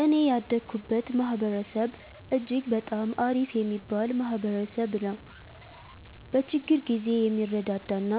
እኔ ያደኩበት ማህበረሰብ እጅግ በጣም አሪፍ የሚባል ማህበረሰብ ነዉ። በችግር ጊዜ የሚረዳዳ እና